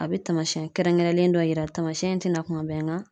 A bɛ taamasiyɛn kɛrɛnkɛrɛnlen dɔ yira taamasiyɛn tɛna kuma bɛɛ nga